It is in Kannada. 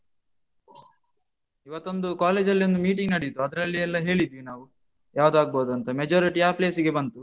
ಇವತ್ತೊಂದು college ಲ್ಲಿ ಒಂದು meeting ನಡೀತು. ಅದ್ರಲ್ಲಿ ಎಲ್ಲ ಹೇಳಿದ್ವಿ ನಾವು, ಯಾವ್ದು ಆಗಬೋದಂತ. majority ಆ place ಗೆ ಬಂತು.